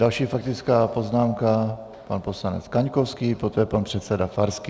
Další faktická poznámka, pan poslanec Kaňkovský, poté pan předseda Farský.